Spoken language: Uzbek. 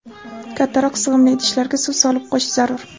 kattaroq sig‘imli idishlarga suv solib qo‘yish zarur.